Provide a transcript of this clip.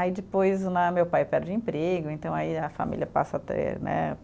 Aí depois né, meu pai perde o emprego, então aí a família passa a ter né,